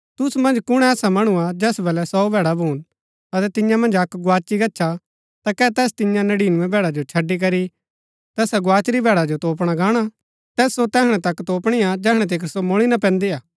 तुसु मन्ज कुण ऐसा मणु हा जैस बलै सौ भैड़ा भून अतै तियां मन्ज अक्क गोआची गच्छा ता कै तैस तियां नड़ीनबैं भैड़ा जो छड़ी करी तैसा गोआचुरी भैड़ा जो तोपणा गाहणा तैस सो तैहणै तक तोपणी हा जैहणै तिकर सो मुळी ना पैन्दी हा